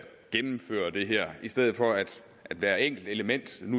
gennemføre det her i stedet for at hver enkelt element